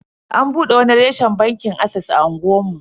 An bude wani reshen bankin ases a unguwar mu.